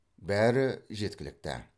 бәрі жеткілікті